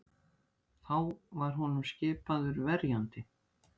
Þá var honum skipaður verjandi